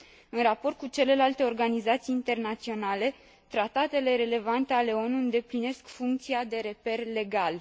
În raport cu celelalte organizații internaționale, tratatele relevante ale ONU îndeplinesc funcția de reper legal.